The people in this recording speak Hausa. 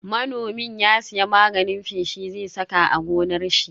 Manomin ya siya magani feshi zai saka a gonar shi.